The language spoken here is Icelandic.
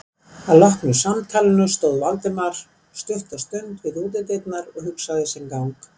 Að loknu samtalinu stóð Valdimar stutta stund við útidyrnar og hugsaði sinn gang.